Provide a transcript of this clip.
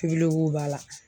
b'a la